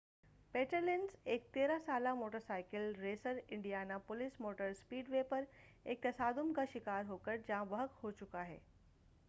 پیٹرلینز ایک 13 سالہ motorcycle racer Indiana police motor speedway پر ایک تصادم کا شکار ہوکر جاں بحق ہوچُکا ہے